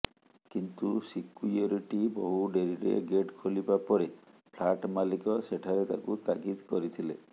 କିନ୍ତୁ ସିକୁ୍ୟରିଟି ବହୁ ଡେରିରେ ଗେଟ୍ ଖୋଲିବା ପରେ ଫ୍ଲାଟ୍ ମାଲିକ ସେଠାରେ ତାକୁ ତାଗିଦ କରିଥିଲେ